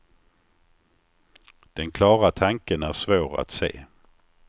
Den klara tanken är svår att se.